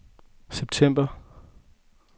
september